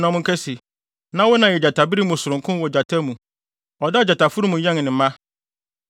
na monka se: “ ‘Na wo na yɛ gyatabere mu sononko wɔ gyata mu! Ɔdaa gyataforo mu yɛn ne mma.